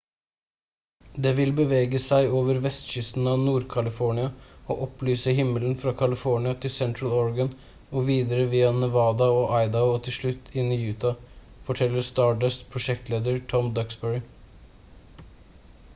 «det vil bevege seg over vestkysten av nord-california og opplyse himmelen fra california til sentral-oregon og videre via nevada og idaho og til slutt inn i utah» forteller stardust-prosjektleder tom duxbury